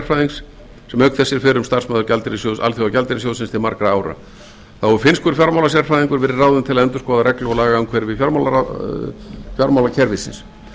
auk þess er fyrrum starfsmaður alþjóðagjaldeyrissjóðsins til margra ára þá hefur finnskur fjármálasérfræðingur verið ráðinn til að endurskoða reglur og lagaumhverfi fjármálakerfisins